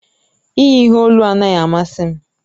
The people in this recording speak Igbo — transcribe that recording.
Iyi ihe olu anaghị amasị m.